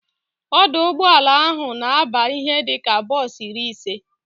Ọdụ ụgbọala ahụ na aba ihe dịka bos iri ise